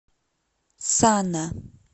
сана